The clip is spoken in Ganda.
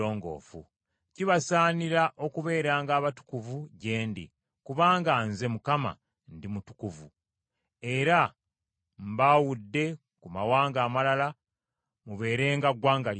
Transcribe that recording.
Kibasaanira okubeeranga abatukuvu gye ndi, kubanga Nze, Mukama , ndi mutukuvu, era mbaawudde ku mawanga amalala mubeerenga ggwanga lyange.